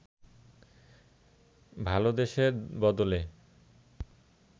ভালদেসের বদলে